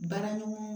Baraɲɔgɔn